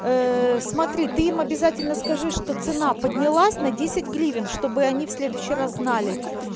смотри ты им обязательно скажи что цена поднялась на десять гривен чтобы они в следующий раз знали